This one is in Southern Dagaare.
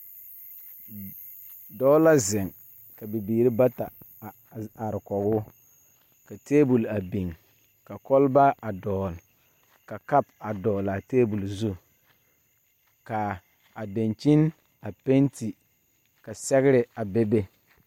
Dɔɔ la zeŋ ka bibiire bata a are kɔgoo ka tabol a biŋ ka kɔlbaa a dɔgle ka kapu a dɔglaa tabole zu kaa a dankyini a penti sɔglaa ka sɛgre a bebe.